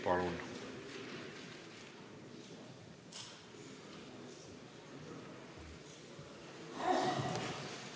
Palun!